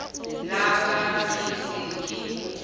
la ka ke se ke